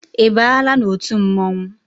I baala n'otu mmọnwụ?